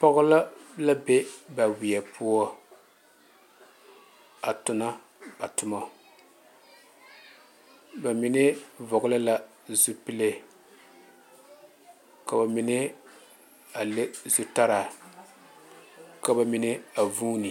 Pɔge la la be ba wiɛ poɔ a tuna ba tuma ba mine vɔgle la zupele ko'o a le zutara ka ba mine a vuune.